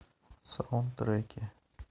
саундтреки